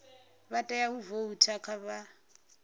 vha tea u voutha vha